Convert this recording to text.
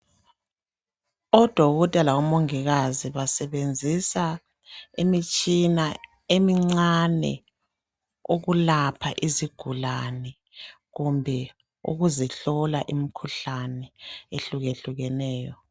Odokotela labomongikazi basebenzisa imitshina emincane yokulapha izigulane kumbe ukuzihlola imikhuhlane ehlukehlukeneyo.